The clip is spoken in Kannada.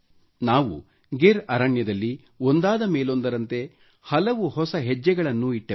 ನಾವು ಗೀರ್ ಅರಣ್ಯದಲ್ಲಿ ಒಂದಾದ ಮೇಲೊಂದರಂತೆ ಹಲವು ಹೊಸ ಹೆಜ್ಜೆಗಳನ್ನಿಟ್ಟೆವು